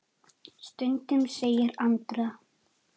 Stundum segir Andrea.